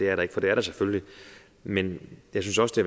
er det for det er der selvfølgelig men jeg synes også det